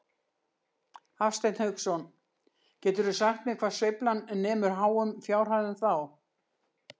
Hafsteinn Hauksson: Geturðu sagt mér hvað sveiflan nemur háum fjárhæðum þá?